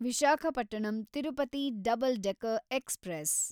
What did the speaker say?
Visakhapatnam Tirupati double decker express